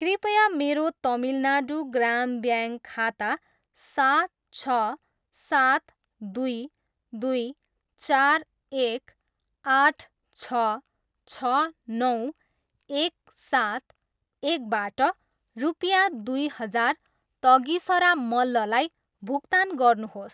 कृपया मेरो तमिलनाडू ग्राम ब्याङ्क खाता सात, छ, सात, दुई, दुई, चार, एक, आठ, छ, छ, नौ, एक, सात, एकबाट रुपियाँ दुई हजार तगिसरा मल्ललाई भुक्तान गर्नुहोस्।